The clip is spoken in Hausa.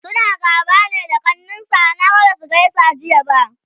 suna gaba ne da kaninsa? Naga Basu gaisa ba Jiya